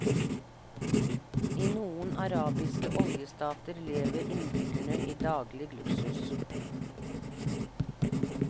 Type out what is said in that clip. I noen arabiske oljestater lever innbyggerne i daglig luksus.